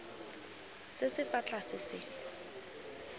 se se fa tlase se